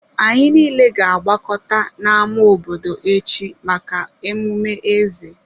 Anyị niile ga-agbakọta n'ama obodo echi maka emume eze.